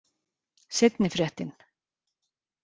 Seinni fréttin.